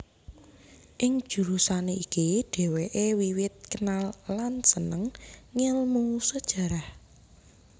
Ing jurusan iki dhèwèké wiwit kenal lan sênêng ngélmu Sejarah